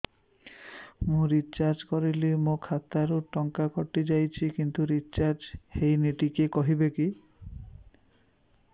ମୁ ରିଚାର୍ଜ କରିଲି ମୋର ଖାତା ରୁ ଟଙ୍କା କଟି ଯାଇଛି କିନ୍ତୁ ରିଚାର୍ଜ ହେଇନି ଟିକେ କହିବେ